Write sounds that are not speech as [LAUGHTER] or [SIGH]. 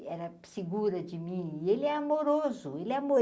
E era segura de mim, e ele é amoroso, ele é. [UNINTELLIGIBLE]